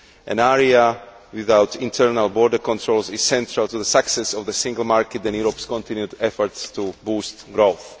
An area without internal border controls is central to the success of the single market and Europe's continued efforts to boost growth.